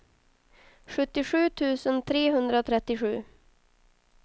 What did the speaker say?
sjuttiosju tusen trehundratrettiosju